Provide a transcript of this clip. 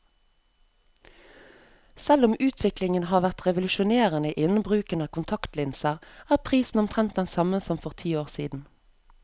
Selv om utviklingen har vært revolusjonerende innen bruken av kontaktlinser, er prisen omtrent den samme som for ti år siden.